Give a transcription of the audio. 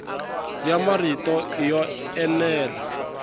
ya marito i yo enela